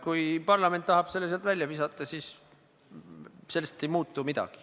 Kui parlament tahab selle sealt välja visata, siis sellest ei muutu midagi.